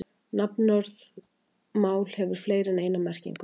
Nafnorðið mál hefur fleiri en eina merkingu.